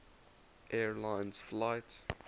air lines flight